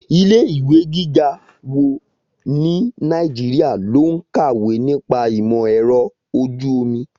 Ilé ìwé gíga wo ní Nàìjíríà ló ń kàwé nípa ìmọ̀ ẹ̀rọ ojú omi?